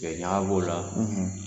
Tiga ɲaga b'o la